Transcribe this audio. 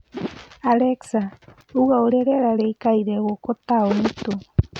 Alexa ũnga ũrĩa rĩera rĩkaire gũku taũni ĩtu